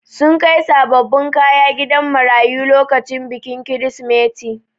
Sun kai sabobbin kaya gidan marayu lokacin bikin kirisimeti.